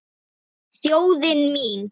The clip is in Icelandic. Þjóðin mín.